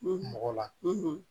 mɔgɔ la